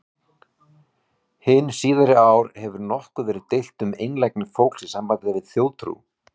Hin síðari ár hefur nokkuð verið deilt um einlægni fólks í sambandi við þjóðtrú.